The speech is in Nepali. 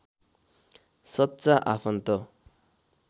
सच्चा आफन्त